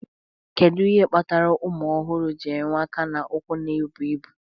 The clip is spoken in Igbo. Kedu ihe kpatara ụmụ ọhụrụ ji enwe aka na ụkwụ na-ebu ibu?